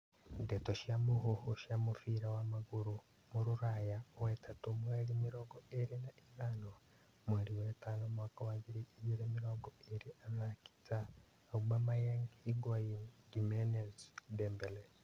Ndeto cia mũhuhu cia mũbira wa magũrũ Rũraya wetatũ mweri mĩrongo ĩrĩ na ithano mweri wetano mwaka wa ngiri igĩrĩ mĩrongo ĩrĩ athaki ta Aubemayang, Higuan, Jimenez, Dembele